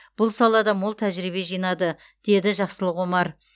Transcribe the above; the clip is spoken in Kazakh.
бұл салада мол тәжірибе жинады деді жақсылық омар